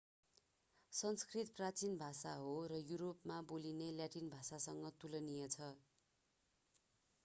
संस्कृत प्राचिन भाषा हो र युरोपमा बोलिने ल्याटिन भाषासँग तुलनीय छ